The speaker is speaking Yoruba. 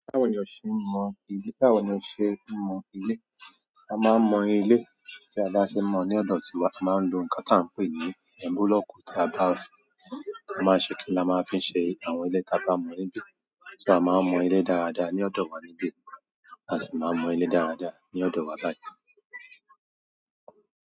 Báwo ni o ṣe mọ ilé? Báwo ni o ṣe mọ ilé? A mọ́ ń mọ ilé, tí a bá ṣe ń mọ ilé ọ̀dọ̀ ti wa, a máa ń lo nǹkan tá ǹ pè ní búlọ́ọ̀kù la máa ṣe kí ni? Tá máa fí ń ṣe àwọn ilé táa bá mọ. A máa ń mọ ilé dáradára ní ọ̀dọ̀ wa níbí, a sì máa ń mọ ilé dáradára ní ọ̀dọ̀ wa báyìí.